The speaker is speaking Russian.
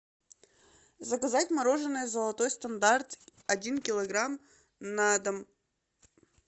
заказать мороженое золотой стандарт один килограмм на дом